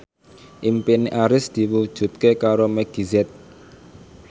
impine Arif diwujudke karo Meggie Z